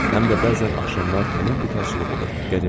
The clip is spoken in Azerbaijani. Həm də bəzən axşamlar tamam bekarlıq olur.